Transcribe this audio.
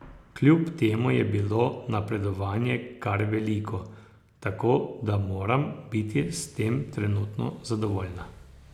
Kljub temu je bilo napredovanje kar veliko, tako da moram biti s tem trenutno zadovoljna.